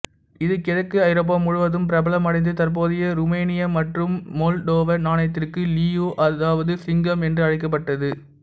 இது கிழக்கு ஐரோப்பா முழுவதும் பிரபலமடைந்தது தற்போதைய ருமேனிய மற்றும் மொல்டோவ நாணயத்திற்கு லியூ அதாவது சிங்கம் என்று அழைக்கப்பட்டது